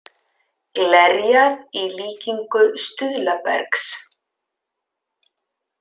Glerjað í líkingu stuðlabergs